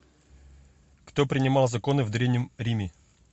кто принимал законы в древнем риме